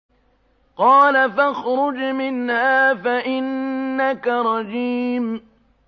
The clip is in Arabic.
قَالَ فَاخْرُجْ مِنْهَا فَإِنَّكَ رَجِيمٌ